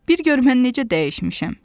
Bir gör mən necə dəyişmişəm.